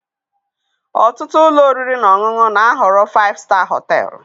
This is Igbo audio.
Ọtụtụ ụlọ oriri na ọṅụṅụ na-ahọrọ 5 star hotel.